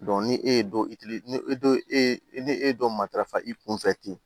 ni e ye dɔ ni e ni e dɔ matarafa i kun fɛ ten